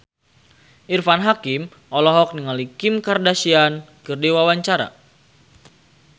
Irfan Hakim olohok ningali Kim Kardashian keur diwawancara